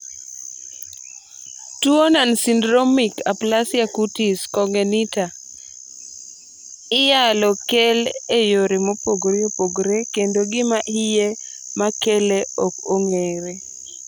tuo nonsyndromic aplasia cutis congenita i yalo keli e yore mopogore opogore kendo gima hie makele ok ong'ere